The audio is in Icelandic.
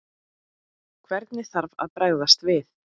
Hvernig þarf að bregðast við?